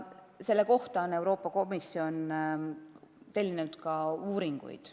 Selle kohta on Euroopa Komisjon tellinud uuringuid.